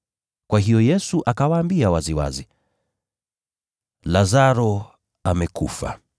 Kwa hiyo Yesu akawaambia waziwazi, “Lazaro amekufa.